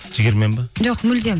жігермен бе жоқ мүлдем